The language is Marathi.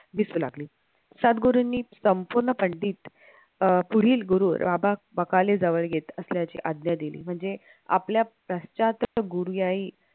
दिसू लागले सद्गुरूंनी संपूर्ण पंडित अं पुढील गुरु राबा बकाले जवळ येत असल्याची आज्ञा दिली म्हणजे आपल्या प्रश्चात गुरुयायी